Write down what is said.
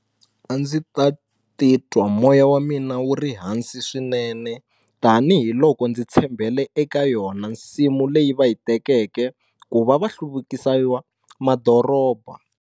A ndzi ta titwa moya wa mina wu ri hansi swinene tanihiloko ndzi tshembele eka yona nsimu leyi va yi tekeke ku va va hluvukisayiwa madoroba.